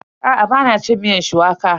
Aa, ba na cin miyar shuwaka.